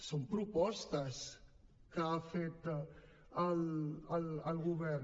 són propostes que ha fet el govern